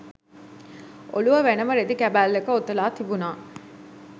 ඔළුව වෙනම රෙදි කැබැල්ලක ඔතලා තිබුණා.